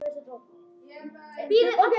Halli afi var skáld.